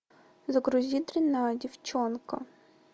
загрузи дрянная девчонка